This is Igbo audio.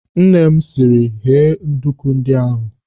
Nne m, sịrị, "Ghee nduku ndị ahụ!"